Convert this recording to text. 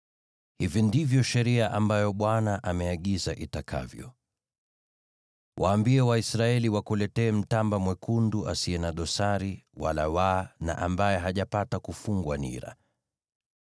“Hivi ndivyo sheria ambayo Bwana ameagiza itakavyo: Waambie Waisraeli wakuletee mtamba mwekundu asiye na dosari wala waa, na ambaye hajapata kufungwa nira.